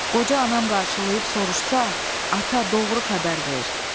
Qoca anam qarşılayıb soruşsa, ata doğru xəbər ver.